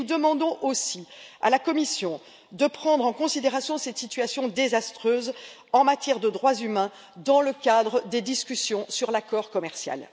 Nous demandons aussi à la Commission de prendre en considération cette situation désastreuse en matière de droits humains dans le cadre des discussions sur l'accord commercial.